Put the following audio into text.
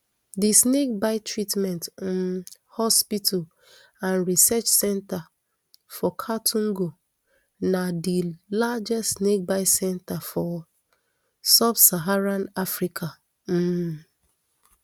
di snakebite treatment um hospital and research centre for kaltungo na di largest snakebite centre for subsaharan africa um